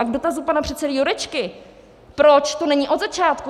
A k dotazu pana předsedy Jurečky, proč to není od začátku.